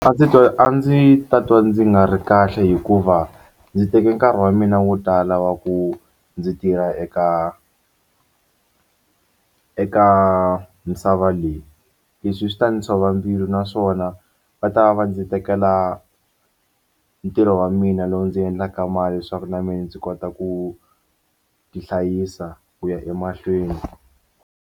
A ndzi a ndzi ta twa ndzi nga ri kahle hikuva ndzi teke nkarhi wa mina wo tala wa ku ndzi tirha eka eka misava leyi leswi swi ta ndzi tshova mbilu naswona va ta va ndzi tekela ntirho wa mina lowu ndzi endlaka mali leswaku na mina ndzi kota ku tihlayisa ku ya emahlweni.